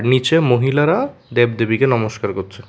নিচে মহিলারা দেব দেবীকে নমস্কার করছে।